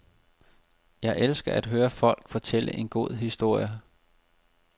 Jeg elsker at høre folk fortælle en god historie.